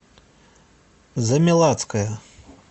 замелацкая